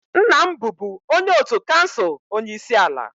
nna m bụbu onye otu kansụl onye isi ala